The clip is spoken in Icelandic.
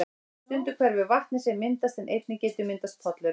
Stundum hverfur vatnið sem myndast en einnig getur myndast pollur.